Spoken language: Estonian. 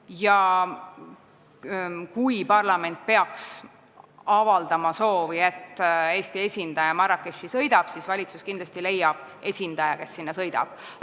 Ja kui parlament peaks avaldama soovi, et Eesti esindaja sõidaks Marrakechi, siis valitsus kindlasti leiab esindaja, kes sinna sõidab.